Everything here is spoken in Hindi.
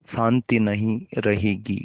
शान्ति नहीं रहेगी